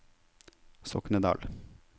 Soknedal